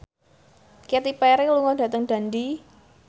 Katy Perry lunga dhateng Dundee